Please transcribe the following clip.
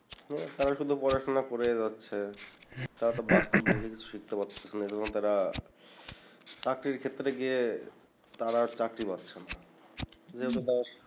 এছাড়া শুধু পড়াশোনা করেই যাচ্ছে তারাতো বাস্তবমুখি কিছু শিখতে পারছে না এ জন্য তারা চাকরির ক্ষেত্রে গিয়ে তারা আর চাকরি পাচ্ছেনা